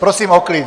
Prosím o klid!